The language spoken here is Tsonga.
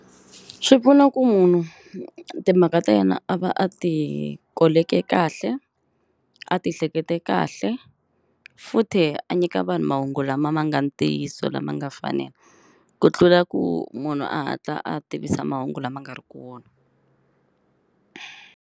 Swi pfuna ku munhu timhaka ta yena a va a ti koleke kahle a ti hlekete kahle futhe a nyika vanhu mahungu lama ma nga ntiyiso lama nga fanela ku tlula ku munhu a hatla a tivisa mahungu lama nga ri kona.